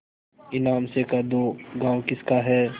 ईमान से कह दो गॉँव किसका है